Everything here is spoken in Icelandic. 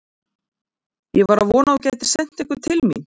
Ég var að vona að þú gætir sent einhvern til mín.